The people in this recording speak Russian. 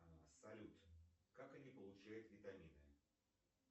а салют как они получают витамины